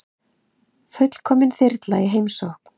Fullkomin þyrla í heimsókn